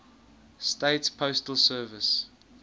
states postal service